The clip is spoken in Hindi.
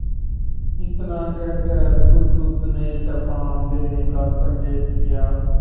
इतना कहकर बुधगुप्त ने कृपाण देने का संकेत किया